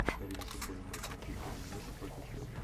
повтори мне футбольный матч манчестер юнайтед против челси